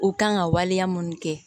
U kan ka waleya mun kɛ